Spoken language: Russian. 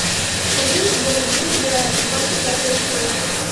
скажи я люблю тебя двадцать пятая серия